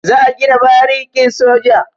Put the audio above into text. Za a gina barikin soja.